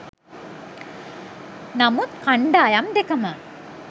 නමුත් කණ්ඩායම් දෙකම